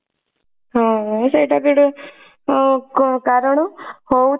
ହଁ ସେଇଟା ବି ଗୋଟେ ଅ କାରଣ ହଉ